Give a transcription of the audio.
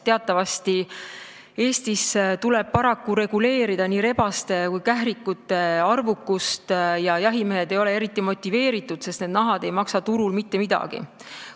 Teatavasti tuleb Eestis paraku reguleerida nii rebaste kui ka kährikute arvukust, aga jahimehed ei ole eriti motiveeritud, sest need nahad ei maksa turul mitte midagi.